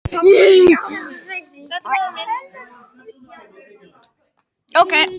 Sumir reyna líka endalaust að fresta öllum málum.